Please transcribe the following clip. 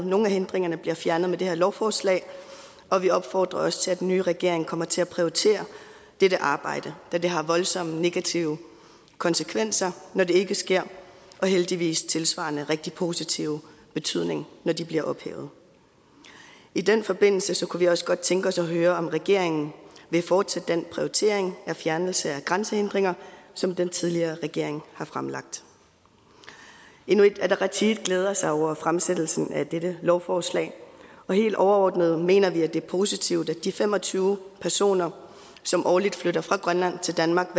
nogle af hindringerne bliver fjernet med det her lovforslag og vi opfordrer også til at den nye regering kommer til at prioritere dette arbejde da det har voldsomme negative konsekvenser når det ikke sker men heldigvis også tilsvarende rigtig positiv betydning når de bliver ophævet i den forbindelse kunne vi også godt tænke os at høre om regeringen vil fortsætte den prioritering af en fjernelse af grænsehindringer som den tidligere regering har fremlagt inuit ataqatigiit glæder sig over fremsættelsen af dette lovforslag helt overordnet mener vi at det er positivt at de fem og tyve personer som årligt flytter fra grønland til danmark